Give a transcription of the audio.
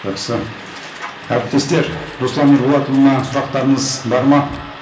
жақсы әріптестер руслан ерболатұлына сұрақтарыңыз бар ма